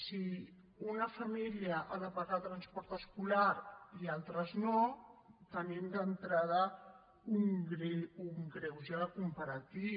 si una família ha de pagar transport escolar i altres no tenim d’entrada un greuge comparatiu